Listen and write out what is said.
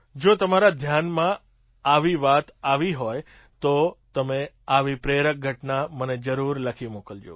જો તમારા ધ્યાનમાં આવી વાત આવી હોય તો તમે આવી પ્રેરક ઘટના મને જરૂર લખી મોકલજો